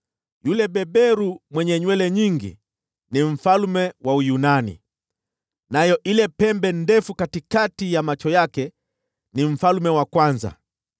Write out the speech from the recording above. Yule beberu mwenye nywele nyingi ni mfalme wa Uyunani, nayo ile pembe ndefu katikati ya macho yake ni mfalme wa kwanza.